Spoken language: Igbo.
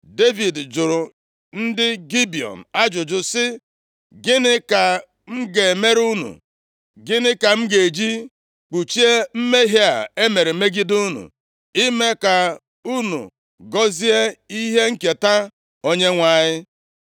Devid jụrụ ndị Gibiọn ajụjụ sị, “Gịnị ka m ga-emere unu? Gịnị ka m ga-eji kpuchie mmehie a e mere megide unu, ime ka unu gọzie ihe nketa Onyenwe anyị?”